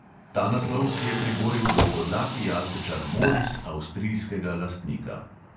Ta naslov si je priboril dolgodlaki jazbečar moris avstrijskega lastnika.